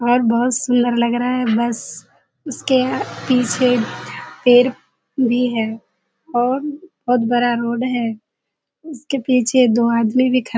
और बहुत सुन्‍दर लग रहा है। बस उसके पीछे पेड़ भी है और बहुत बड़ा रोड है। उसके पीछे दो आदमी भी ख --